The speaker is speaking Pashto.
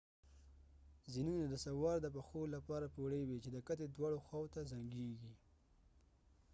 زینونه د سوار د پښو لپاره پوړۍ وي چې د کتې دواړه خواوو ته زنګیږي